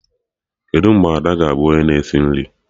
Kedụ mgbe Ada ga-abụ onye na esi nri?